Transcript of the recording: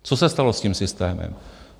Co se stalo s tím systémem?